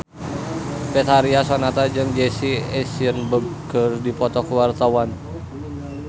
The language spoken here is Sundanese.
Betharia Sonata jeung Jesse Eisenberg keur dipoto ku wartawan